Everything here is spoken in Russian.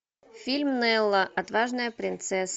фильм нелла отважная принцесса